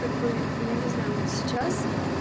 как бы я не знаю вот сейчас